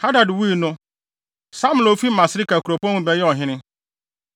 Hadad wui no, Samla a ofi Masreka kuropɔn mu bɛyɛɛ ɔhene.